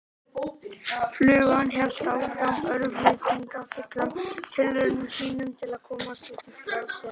Flugan hélt áfram örvæntingarfullum tilraunum sínum til að komast út í frelsið.